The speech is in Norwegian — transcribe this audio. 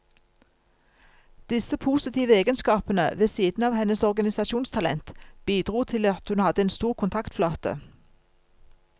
Disse positive egenskapene, ved siden av hennes organisasjonstalent, bidro til at hun hadde en stor kontaktflate.